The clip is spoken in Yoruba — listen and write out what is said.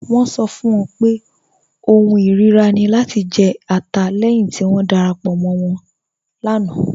Wọn sọ fún wọn pé ọ̀hùn irira ni lati jẹ̀ ẹ̀tà lẹ́hin ti wọn darapọ̀ mọ̀ wọn láńà.